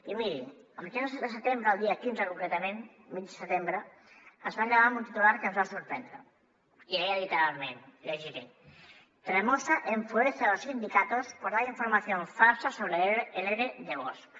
i miri a mitjans de setembre el dia quinze concretament mig setembre ens vam llevar amb un titular que ens va sorprendre i deia literalment llegiré tremosa enfurece a los sindicatos por dar información falsa sobre el ere de bosch